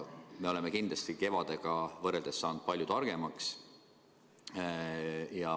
Me oleme kindlasti kevadega võrreldes saanud palju targemaks.